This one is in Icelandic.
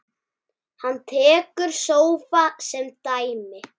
Hann tekur sófa sem dæmi.